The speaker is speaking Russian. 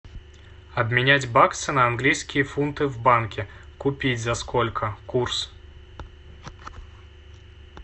обменять баксы на английские фунты в банке купить за сколько курс